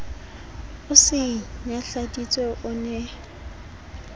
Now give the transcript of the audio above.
o se nyahladitse o ne